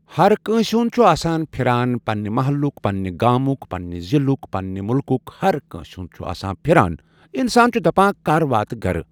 ہر کٲنٛسہِ ہُنٛد چھِ آسان پھران پننہِ محلُک، پنٛنہِ گامُک، پننہِ ضلعک، پننہِ مٕلکُک، ہرکٲنٛسہِ ہُنٛد چھ آسان پھران۔ اِنسان چھِ دپان کَر واتہِ گرٕ۔